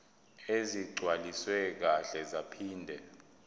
ezigcwaliswe kahle zaphinde